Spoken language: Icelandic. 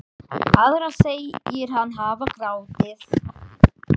Aðra segir hann hafa grátið.